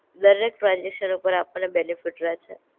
દર એક ટ્રાન્સઝેકશન ઉપર આપણે બેનેફિટ રહે છે.